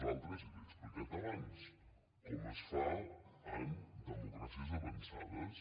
i l’hi he explicat abans com es fa en democràcies avançades